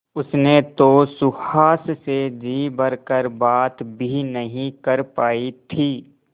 उसने तो सुहास से जी भर कर बात भी नहीं कर पाई थी